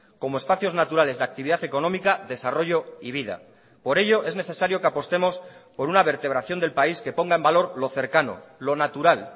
como espacios naturales de actividad económica desarrollo y vida por ello es necesario que apostemos por una vertebración del país que ponga en valor lo cercano lo natural